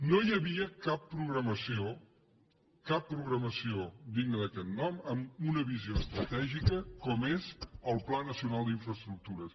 no hi havia cap programació cap programació digna d’aquest nom amb una visió estratègica com és el pla nacional d’infraestructures